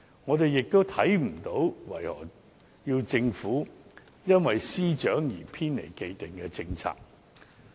我們亦看不到為何要求政府因事件涉及司長而偏離既定的政策。